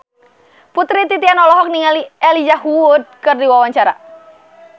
Putri Titian olohok ningali Elijah Wood keur diwawancara